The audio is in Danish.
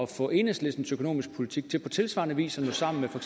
få enhedslistens økonomiske politik til på tilsvarende vis at nå sammen med for